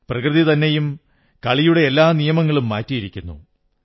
പ്രകൃതി തന്നെയും കളിയുടെ എല്ലാ നിയമങ്ങളും മാറ്റിയിരിക്കുന്നു